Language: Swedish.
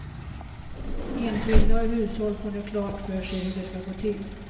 Enskilda och hushåll får nu klart för sig hur det ska gå till.